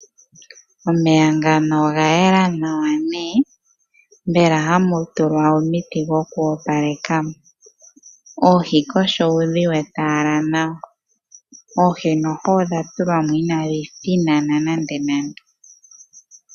Omeya ngaka oga yela nawa mbela hamu tulwa omiti dhokoopaleka. Oohi kohi ou dhi wete ashike nawa dho noho odha tulwa mo inadhi thinana nande nande.